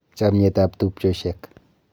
Chamyetab tumchosyiek.